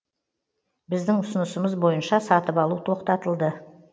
біздің ұсынысымыз бойынша сатып алу тоқтатылды